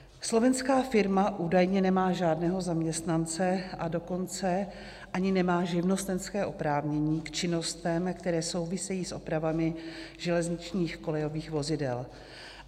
Slovenská firma údajně nemá žádného zaměstnance, a dokonce ani nemá živnostenské oprávnění k činnostem, které souvisejí s opravami železničních kolejových vozidel.